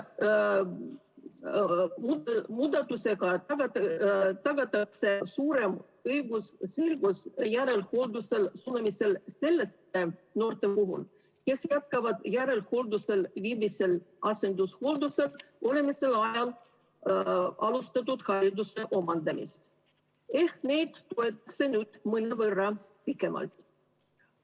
Muudatusega tagatakse suurem õigusselgus järelhooldusele suunamisel selliste noorte puhul, kes jätkavad järelhooldusel viibimisel asendushooldusel olemise ajal alustatud hariduse omandamist, ehk see toimub nüüd mõnevõrra pikemalt.